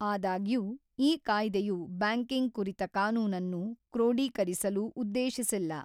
ಆದಾಗ್ಯೂಈ ಕಾಯ್ದೆಯು ಬ್ಯಾಂಕಿಂಗ್ ಕುರಿತ ಕಾನೂನನ್ನು ಕ್ರೋಡೀಕರಿಸಲು ಉದ್ದೇಶಿಸಿಲ್ಲ.